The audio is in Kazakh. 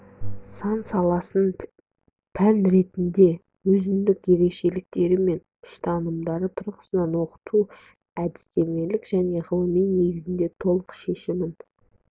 сансаласын пән ретінде өзіндік ерекшеліктері мен ұстанымдары тұрғысынан оқыту әдістемелік және ғылыми негізде толық шешімін